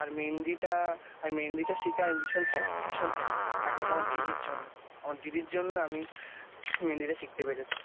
আর মেহেন্দিটা আর মেহেন্দিটা শিটা আমি ভীষন Happy ভীষন happy একমাত্র আমার দিদির জন্য আমার দিদির জন্য আমি BABBLE মেহেন্দি টা শিখতে পেরেছি।